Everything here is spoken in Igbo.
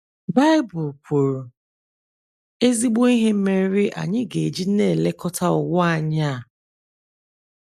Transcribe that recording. Baịbụl kwuru ezigbo ihe mere anyị ga - eji na - elekọta ụwa anyị a.